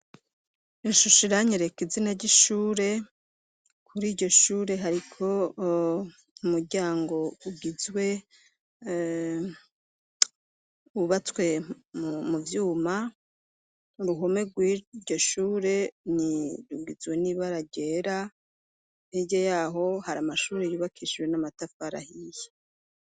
Ishusho iranyereka izina ry'ishure kuriryo shure hariko umuryango ugizwe wubatswe mu vyuma, uruhome rwiryo shure rugizwe nibara ryera hirya yaho hari amashuri yubakishijwe n'amatafari ahiye.